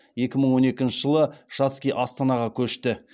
екі мың он екінші жылы шацкий астанаға көшті